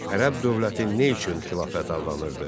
Ərəb dövləti nə üçün xilafət adlanırdı?